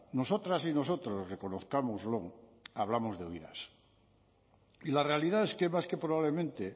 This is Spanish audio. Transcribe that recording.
nosotras y nosotros reconozcámoslo hablamos de oídas y la realidad es que más que probablemente